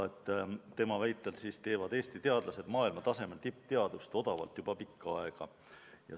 Tema väitel teevad Eesti teadlased maailmatasemel tippteadust odavalt juba pikka aega.